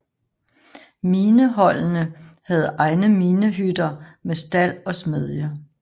Mineholdene havde egne minehytter med stald og smedje